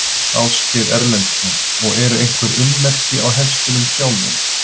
Ásgeir Erlendsson: Og eru einhver ummerki á hestunum sjálfum?